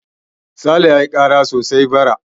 Sale ya yi kara sosai bara.